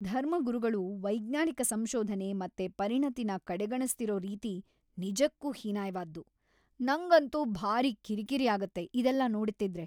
ಧರ್ಮಗುರುಗಳು ವೈಜ್ಞಾನಿಕ ಸಂಶೋಧನೆ ಮತ್ತೆ ಪರಿಣತಿನ ಕಡೆಗಣಿಸ್ತಿರೋ ರೀತಿ ನಿಜಕ್ಕೂ ಹೀನಾಯ್ವಾದ್ದು, ನಂಗಂತೂ ಭಾರೀ ಕಿರಿಕಿರಿ ಆಗತ್ತೆ ಇದೆಲ್ಲ ನೋಡ್ತಿದ್ರೆ.